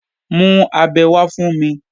Mú abẹ wá fún mi!